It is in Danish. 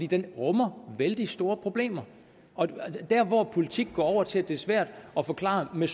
den rummer vældig store problemer og der hvor politik går over til at det er svært at forklare med